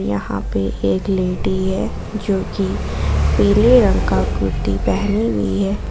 यहां पे एक लेडी है जो की पीले रंग का कुर्ती पहनी हुई है।